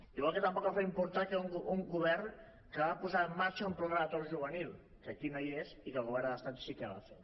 igual que tampoc els va importar un govern que va posar en marxa un pla de l’atur juvenil que aquí no hi és i que el govern de l’estat sí que va fer